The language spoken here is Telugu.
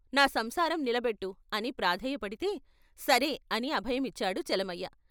నా సంసారం నిలబెట్టు అని ప్రాధేయపడితే ' సరే ' అని అభయమిచ్చాడు చలమయ్య.